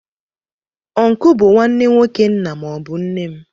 Ọncle bụ nwanne nwoke nna maọbu nne m.